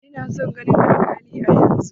Ina son ganin alkalin yanzun!